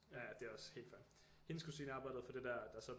Ja ja det er også helt fair hendes kusine arbejdede for det der